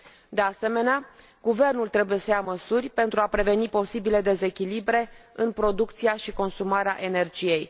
De asemenea, guvernul trebuie să ia măsuri pentru a preveni posibile dezechilibre în producția și consumarea energiei.